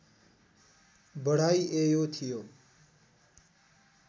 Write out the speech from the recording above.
बढाइएयो थियो